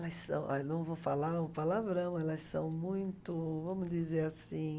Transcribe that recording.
Mas, ó, eu não vou falar um palavrão, elas são muito, vamos dizer assim...